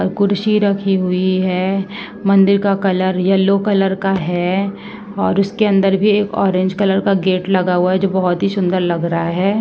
और कुर्सी रखी हुई है| मंदिर का कलर येल्लो कलर का है और उसके अन्दर भी एक ऑरेंज कलर का गेट लगा हुआ है जो बहोत ही सुन्दर लग रहा है |